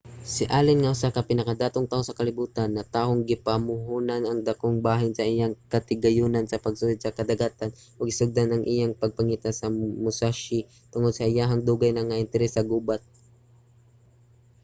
si allen nga usa sa pinakadatong tawo sa kalibutan natahong gipamuhonan ang dakong bahin sa iyang katigayunan sa pagsuhid sa kadagatan ug gisugdan ang iyang pagpangita sa musashi tungod sa iyahang dugay na nga interes sa gubat